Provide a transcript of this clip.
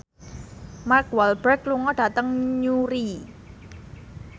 Mark Walberg lunga dhateng Newry